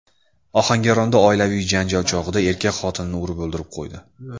Ohangaronda oilaviy janjal chog‘ida erkak xotinini urib o‘ldirib qo‘ydi.